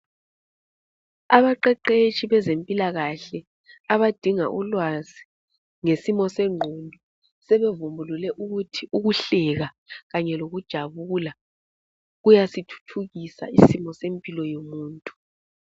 Abaqeqetshi bezempilakahle abadinga ulwazi ngesimo sengqondo sebevumbulule ukuthi kuhleka kanye lokujabula kuyasithuthukisa isimo sempilo yomuntu.